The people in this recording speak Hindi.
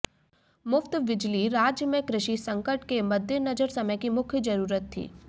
मुफ्त बिजली राज्य में कृषि संकट के मद्देनजर समय की मुख्य जरूरत थी